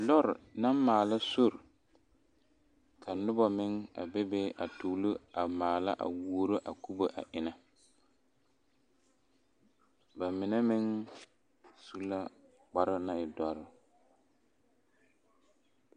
Lɔre la maala sori ka noba meŋ bebe a tuuro a maala a wuro a kubo a enne ba mine meŋ su la kpare naŋ e e doɔre.